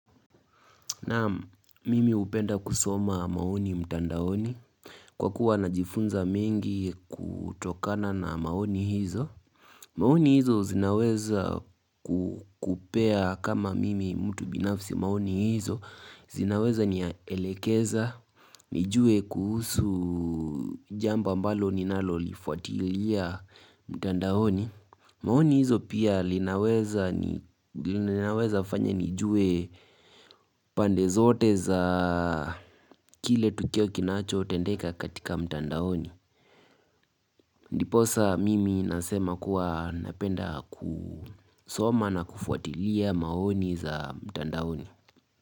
Naam mimi hupenda kusoma maoni mtandaoni Kwa kuwa na jifunza mengi kutokana na maoni hizo maoni hizo zinaweza kukupea kama mimi mtu binafsi maoni hizo zinaweza nielekeza, nijue kuhusu jambo mbalo ninalo lifuatilia mtandaoni maoni hizo pia linaweza fanya nijue pande zote za kile tukio kinacho tendeka katika mtandaoni Ndiposa mimi nasema kuwa napenda kusoma na kufuatilia maoni za mtandaoni.